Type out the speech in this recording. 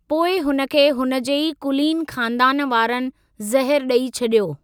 पोइ हुन खे हुनजे ई कुलीन ख़ानदान वारनि ज़हरु ॾेई छॾियो।